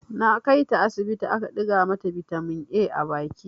Na kai ta asibiti aka ɗiga mata bitamin A a baki.